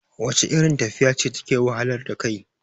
wacce irin tafiya ce take wahalar da kai?